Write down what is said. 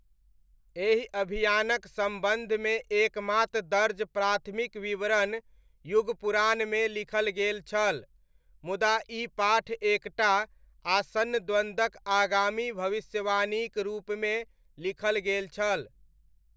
एहि अभियानक सम्बंन्धमे एकमात्र दर्ज प्राथमिक विवरण युगपुराणमे लिखल गेल छल। मुदा ई पाठ एक टा आसन्न द्वन्द्वक आगामी भविष्यवाणीक रूपमे लिखल गेल छल।